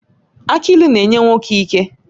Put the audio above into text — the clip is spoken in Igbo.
Aki ịlụ na-enye nwoke ike